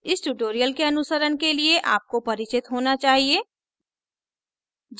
इस tutorial के अनुसरण के लिए आपको परिचित होना चाहिए